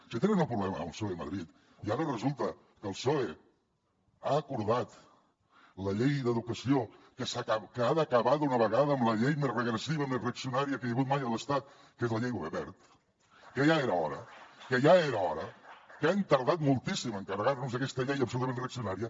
si tenen el problema amb el psoe a madrid i ara resulta que el psoe ha acordat la llei d’educació que ha d’acabar d’una vegada amb la llei més regressiva més reaccionària que hi ha hagut mai a l’estat que és la llei wert que ja era hora que ja era hora que han tardat moltíssim a carregar se aquesta llei absolutament reaccionària